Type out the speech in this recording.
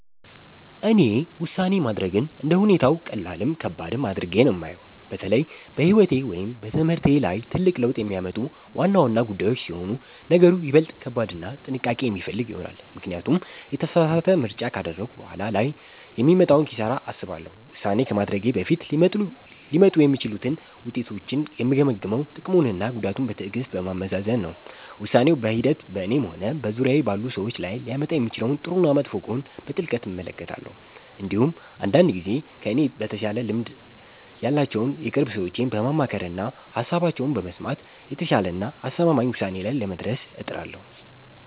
እኔ ውሳኔ ማድረግን እንደ ሁኔታው ቀላልም ከባድም አድርጌ ነው የማየው። በተለይ በሕይወቴ ወይም በትምህርቴ ላይ ትልቅ ለውጥ የሚያመጡ ዋና ዋና ጉዳዮች ሲሆኑ ነገሩ ይበልጥ ከባድና ጥንቃቄ የሚፈልግ ይሆናል፤ ምክንያቱም የተሳሳተ ምርጫ ካደረግኩ በኋላ ላይ የሚመጣውን ኪሳራ አስባለሁ። ውሳኔ ከማድረጌ በፊት ሊመጡ የሚችሉትን ውጤቶች የምገመግመው ጥቅሙንና ጉዳቱን በትዕግሥት በማመዛዘን ነው። ውሳኔው በሂደት በእኔም ሆነ በዙሪያዬ ባሉ ሰዎች ላይ ሊያመጣ የሚችለውን ጥሩና መጥፎ ጎን በጥልቀት እመለከታለሁ። እንዲሁም አንዳንድ ጊዜ ከእኔ በተሻለ ልምድ ያላቸውን የቅርብ ሰዎቼን በማማከርና ሃሳባቸውን በመስማት የተሻለና አስተማማኝ ውሳኔ ላይ ለመድረስ እጥራለሁ።